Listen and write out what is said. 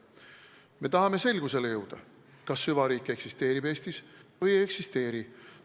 Me tahame selgusele jõuda, kas süvariik Eestis eksisteerib või ei eksisteeri.